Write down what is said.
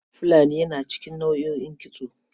Fulani yana cikin nau'o'in kitso.